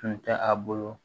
Tun tɛ a bolo